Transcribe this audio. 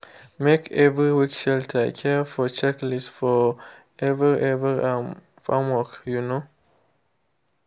make every week shelter care for checklist for every every um farmwork. um